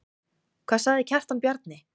Hvað sagði Kjartan Bjarni?